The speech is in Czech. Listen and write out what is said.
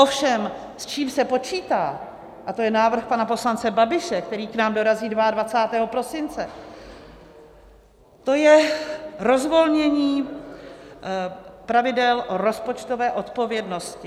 Ovšem s čím se počítá - a to je návrh pana poslance Babiše, který k nám dorazí 22. prosince - to je rozvolnění pravidel rozpočtové odpovědnosti.